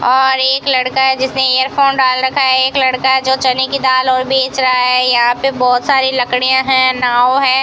और एक लड़का है जिसने इयर फोन डाल रखा है एक लड़का है जो चने की दाल और बेच रहा है यहां पे बहोत सारी लकड़ियां है नाव है।